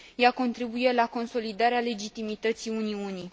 Ea contribuie la consolidarea legitimității Uniunii.